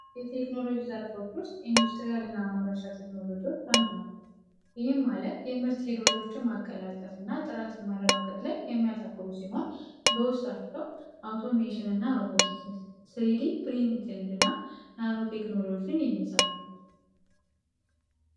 የቴክኖሎጂ ዘርፎች ኢንዱስትሪ ቴክኖሎጂ ማለት የምትሄደዎችን ማቀላጠና ጥራት ማረጋገጥ ላይ የሚያሳክሩ ሲሆን በውስጣቸው አውቶሜሽንና ቴክኖሎጂ